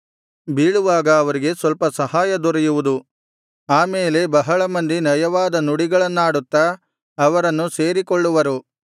ಬೀಳುವಾಗ ಅವರಿಗೆ ಸ್ವಲ್ಪ ಸಹಾಯ ದೊರೆಯುವುದು ಆ ಮೇಲೆ ಬಹಳ ಮಂದಿ ನಯವಾದ ನುಡಿಗಳನ್ನಾಡುತ್ತಾ ಅವರನ್ನು ಸೇರಿಕೊಳ್ಳುವರು